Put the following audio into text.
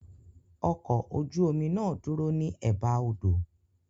Ọkọ̀ ojú omi náà dúró ní Ẹ̀ba odò.